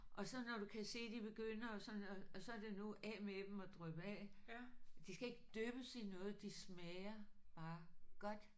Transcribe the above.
Og så når du kan se de begynder og sådan og og så er det nu af med dem og dryppe af. De skal ikke dyppes i noget de smager bare godt